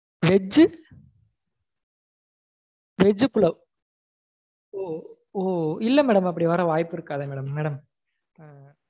veg veg pulao இல்ல madam அப்படி வர வாய்ப்பு இருக்காதே madam